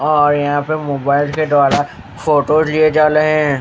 और यहाँ पे मोबाइल के द्वारा फोटो लिए जा रहे हैं।